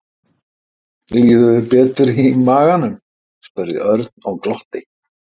Líður þér betur í maganum? spurði Örn og glotti.